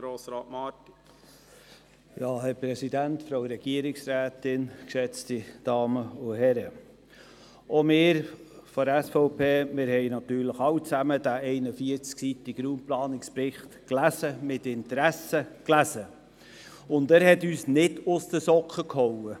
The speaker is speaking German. Selbstverständlich haben wir alle von der SVP-Fraktion diesen 41seitigen Raumplanungsbericht gelesen, und zwar mit Interesse gelesen, und er hat uns nicht aus den Socken gehauen.